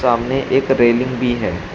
सामने एक रेलिंग भी है।